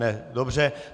Ne, dobře.